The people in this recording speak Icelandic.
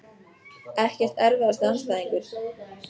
Ekkert Erfiðasti andstæðingur?